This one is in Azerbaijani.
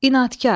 İnadkar.